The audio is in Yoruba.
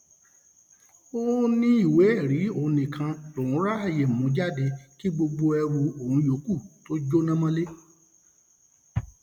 ó um ní ìwéẹrí òun nìkan lòún ráàyè mú jáde kí gbogbo um ẹrù òun yòókù tóó jóná mọlẹ